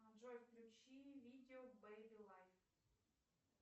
джой включи видео бэби лайф